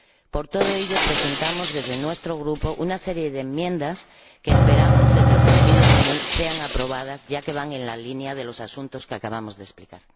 Por todo ello, presentamos desde nuestro Grupo una serie de enmiendas que esperamos —desde el sentido común— que sean aprobadas, ya que van en la línea de los asuntos que acabamos de explicar.